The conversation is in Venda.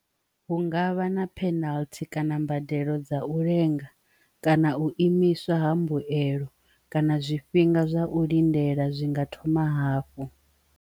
Hu ngavha na penalty kana mbadelo dza u lenga, kana u imiswa ha mbuelo, kana zwifhinga zwa u lindela zwinga thoma hafhu.